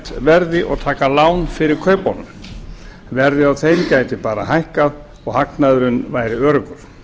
metverði og taka lán fyrir kaupunum verðið á þeim gæti bara hækkað og hagnaðurinn væri öruggur